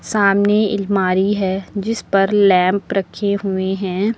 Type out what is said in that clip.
सामने एलमारी है जिस पर लैंप रखे हुए हैं।